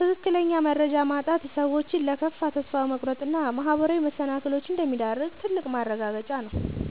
ትክክለኛ መረጃ ማጣት ሰዎችን ለከፋ ተስፋ መቁረጥ እና ማህበራዊ መሰናክሎች እንደሚዳርግ ትልቅ ማረጋገጫ ነው።